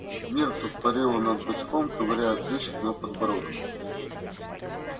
миртл парила над бачком ковыряя прыщик на подбородке